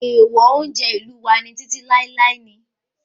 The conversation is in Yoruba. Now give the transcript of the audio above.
Èèwọ̀ oúnjẹ ìlú wa títí láíláí ni